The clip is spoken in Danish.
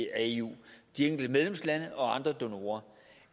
af eu de enkelte medlemslande og andre donorer